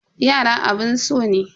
Yara abun so ne.